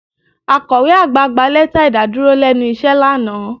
Akọ̀we àgbà gba lẹ́tà ìdàdúró lẹ́nu iṣẹ́ lánàá